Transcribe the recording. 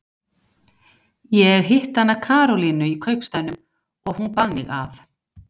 Ég hitti hana Karolínu í kaupstaðnum og hún bað mig að.